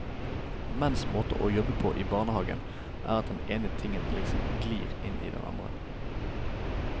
Menns måte å jobbe på i barnehagen er at den ene tingen liksom glir inn i den andre.